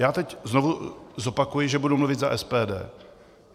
Já teď znovu zopakuji, že budu mluvit za SPD.